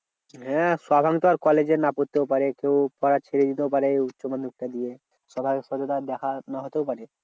হ্যাঁ তখন তো আর কলেজে না পড়তেও পারে কেউ পড়া ছেড়ে দিতেও পারে উচ্চমাধ্যমিক টা দিয়ে। সবার সাথে তো দেখা না হতেও পারে।